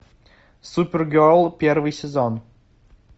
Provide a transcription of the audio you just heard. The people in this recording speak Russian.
супергерл первый сезон